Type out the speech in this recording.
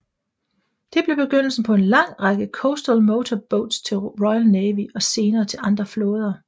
Det blev begyndelsen på en lang række Coastal Motor Boats til Royal Navy og senere til andre flåder